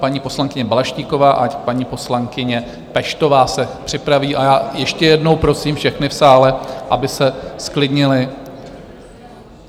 Paní poslankyně Balaštíková a paní poslankyně Peštová se připraví a já ještě jednou prosím všechny v sále, aby se zklidnili.